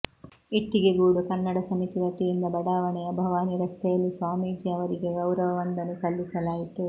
ಇಟ್ಟಿಗೆಗೂಡು ಕನ್ನಡ ಸಮಿತಿ ವತಿಯಿಂದ ಬಡಾವಣೆಯ ಭವಾನಿ ರಸ್ತೆಯಲ್ಲಿ ಸ್ವಾಮೀಜಿ ಅವರಿಗೆ ಗೌರವ ವಂದನೆ ಸಲ್ಲಿಸಲಾಯಿತು